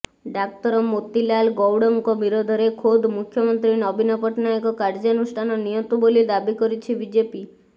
ଡାକ୍ତର ମୋତିଲାଲ ଗୌଡଙ୍କ ବିରୋଧରେ ଖୋଦ୍ ମୁଖ୍ୟମନ୍ତ୍ରୀ ନବୀନ ପଟ୍ଟନାୟକ କାର୍ଯ୍ୟାନୁଷ୍ଠାନ ନିଅନ୍ତୁ ବୋଲି ଦାବି କରିଛି ବିଜେପି